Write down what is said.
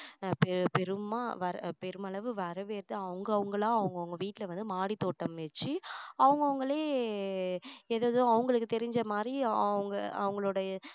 அஹ் பெரும~ பெருமளவு வரவேற்று அவங்க அவங்களா அவங்க அவங்க வீட்டுல வந்து மாடி தோட்டம் வச்சு அவங்க அவங்களே ஏதேதோ அவங்களுக்கு தெரிஞ்ச மாதிரி அவங்க அவங்களுடைய